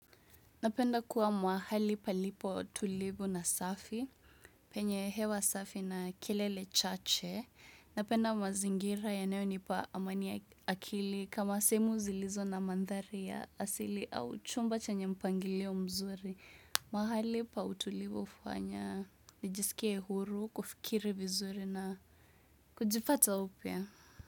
Napenda kuwa mahali palipo tulivu na safi, penye hewa safi na kelele chache. Napenda mazingira yanayonipa amani ya akili kama sehemu zilizo na mandhari ya asili au chumba chenye mpangilio mzuri. Mahali pa utulivu hufanya, nijisikie huru, kufikiri vizuri na kujipata upya.